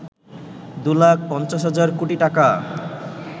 ২ লাখ ৫০ হাজার কোটি টাকা